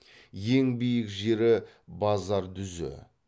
ең биік жері базардүзі